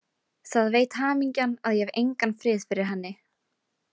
Það veit hamingjan að ég hef engan frið fyrir henni.